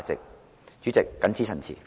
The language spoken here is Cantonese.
代理主席，我謹此陳辭。